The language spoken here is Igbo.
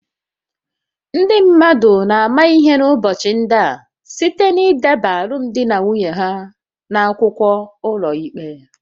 Ndị mmadụ na-ama ihe n’ụbọchị ndị a site n’ideba alụmdi na nwunye ha n’akwụkwọ n’ụlọikpe